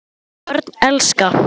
Börn elska.